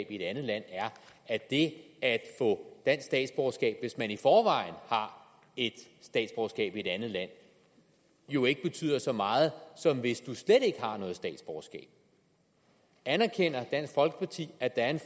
i et andet land er at det at få dansk statsborgerskab hvis man i forvejen har et statsborgerskab i et andet land jo ikke betyder så meget som hvis man slet ikke har noget statsborgerskab anerkender dansk folkeparti at der er en